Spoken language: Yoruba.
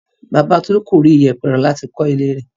Bàbá Tolú kò rí ìyẹ̀pẹ̀ rà láti kọ́ ilé rẹ̀.